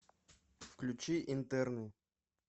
включи интерны